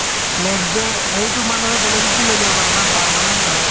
next day সেইটো মানুহে বেলেগকো লৈ যাব পাৰে মানে permanent নহয়